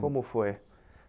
Como foi?